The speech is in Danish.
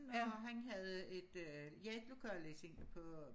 og han havde et øh ledigt lokale i sin på